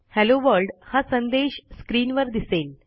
hello world हा संदेश स्क्रीनवर दिसेल